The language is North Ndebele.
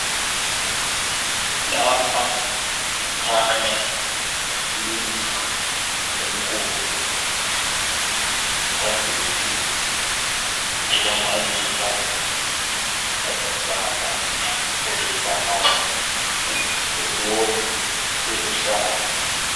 Lapha kukhanya indlu enkulu. Phambili kulamaluba alombala olibhanana leloni eluhlaza.